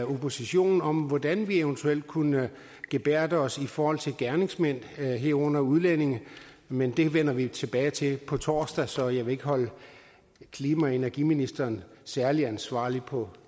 oppositionen om hvordan vi eventuelt kunne gebærde os i forhold til gerningsmænd herunder udlændinge men det vender vi tilbage til på torsdag så jeg vil ikke holde klima og energiministeren særligt ansvarlig på